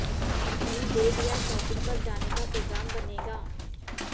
कहीं डेट या शॉपिंग पर जाने का प्रोग्राम बनेगा